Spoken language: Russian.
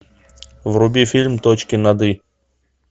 вруби фильм точки над и